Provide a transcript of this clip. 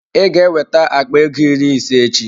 Ị ga-eweta akpa ego iri ịse echi?